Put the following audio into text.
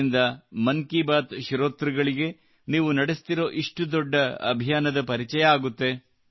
ಇದರಿಂದ ಮನ್ ಕಿ ಬಾತ್ ನ ಶ್ರೋತೃಗಳಿಗೆ ನೀವು ನಡೆಸುತ್ತಿರುವ ಇಷ್ಟು ದೊಡ್ಡ ಅಭಿಯಾನದ ಪರಿಚಯವಾಗುತ್ತದೆ